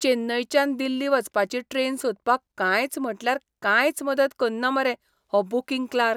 चेन्नयच्यान दिल्ली वचपाची ट्रेन सोदपाक कांयच म्हटल्यार कांयच मदत कन्ना मरे हो बूकिंग क्लार्क!